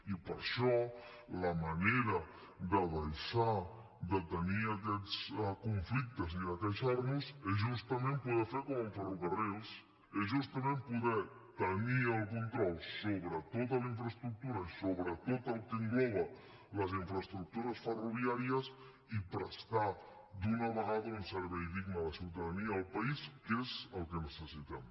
i per això la manera de deixar de tenir aquests conflictes i de queixar nos és justament poder fer com amb ferrocarrils és justament poder tenir el control sobre tota la infraestructura i sobre tot el que engloben les infraestructures ferroviàries i prestar d’una vegada un servei digne a la ciutadania i al país que és el que necessitem